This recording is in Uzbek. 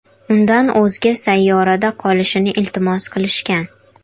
Undan o‘zga sayyorada qolishini iltimos qilishgan.